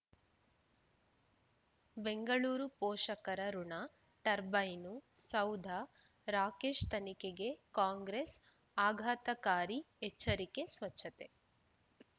ಬೆಂಗಳೂರು ಪೋಷಕರಋಣ ಟರ್ಬೈನು ಸೌಧ ರಾಕೇಶ್ ತನಿಖೆಗೆ ಕಾಂಗ್ರೆಸ್ ಆಘಾತಕಾರಿ ಎಚ್ಚರಿಕೆ ಸ್ವಚ್ಛತೆ